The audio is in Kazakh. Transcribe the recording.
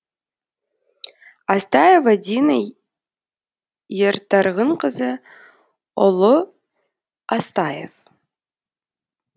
астаева дина ертарғынқызы ұлы астаев